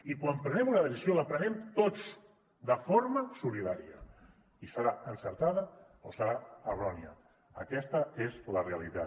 i quan prenem una decisió la prenem tots de forma solidària i serà encertada o serà errònia aquesta és la realitat